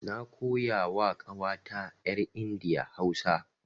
Na koya wa ƙawata yar India Hausa.